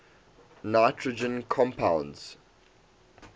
nitrogen compounds